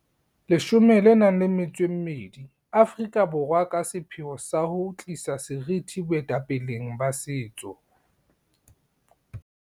12 Aforika Borwa ka sepheo sa ho tlisa seriti boetapeleng ba setso.